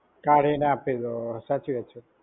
કાઢીને આપી ગયો. સાચી વાત છે.